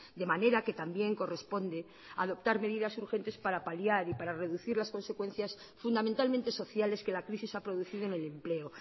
de manera que también corresponde adoptar medidas urgentes para paliar y para reducir las consecuencias fundamentalmente sociales que la crisis ha producido en el empleo